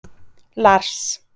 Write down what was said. Lars